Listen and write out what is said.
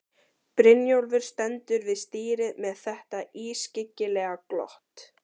Brynjólfur stendur við stýrið með þetta ískyggilega glott.